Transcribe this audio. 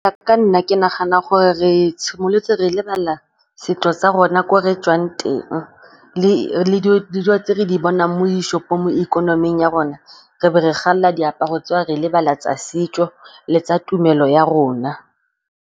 Ka Nna ke nagana gore re simolotse re lebala setso tsa rona ko re tswang teng le dilo tse re di bonang mo di-shop-ong, mo ikonoming ya rona. Re be re galela diaparo tseo re lebala tsa setso le tsa tumelo ya rona.